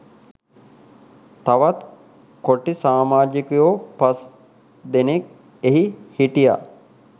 තවත් කොටි සාමාජිකයෝ පස් දෙනෙක් එහි හිටියා